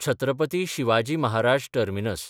Chhatrapati Shivaji Maharaj terminus